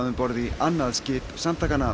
borð í annað skip samtakanna